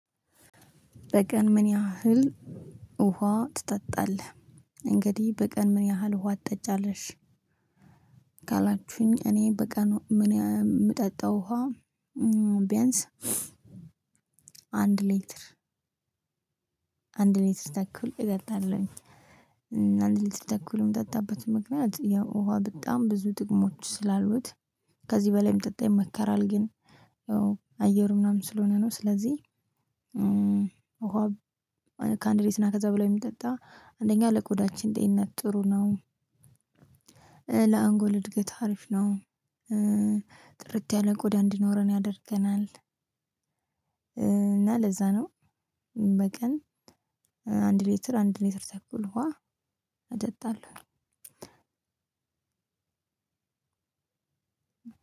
በቀን ምን ያህል ውሃ ትጠጣለህ? እንግዲህ በቀን ምን ያህል ውሃ ትጠጫለሽ? ካላችሁኝ እኔ በቀን የምጠጣው ውሃ። ቢያንስ አንድ ሌትር አንድ ሌትር ተኩል እጠጣለሁኝ። አንድ ሌትር ተኩል የምጠጣበት ምክንያት ያው ውሃ በጣም ብዙ ጥቅሞች ስላሉት ከዚህ በላይም እንዲጠጣ ይመከራል። ግን አየሩ ምናምን ስለሆነ ነው። ስለዚህ ውሃ ከአንድ ሌትርና ከዛ በላይ ቢጠጣ አንደኛ ለቆዳችን ጤንነት ጥሩ ነው። ለአንጎል እድገት አሪፍ ነው። ጥርት ያለ ቆዳ እንዲኖረን ያደርገናል። እና ለዛ ነው። በቀን አንድ ሌትር አንድ ሌትር ተኩል ውሃ አጠጣለሁ።